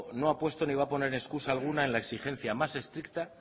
no ha puesto ni va a poner excusa alguna en la exigencia más estricta